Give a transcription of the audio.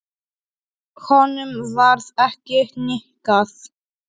Honum varð ekki hnikað.